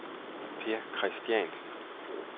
Per Kristiansen